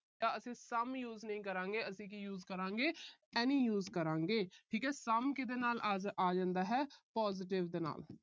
ਅਸੀਂ some use ਨਹੀਂ ਕਰਾਂਗੇ। ਅਸੀਂ ਕੀ use ਕਰਾਂਗੇ, any use ਕਰਾਂਗੇ। ਠੀਕ ਹੈ। some ਕਿਹਦੇ ਨਾਲ ਆ ਜਾਂਦਾ ਹੈ positive ਦੇ ਨਾਲ।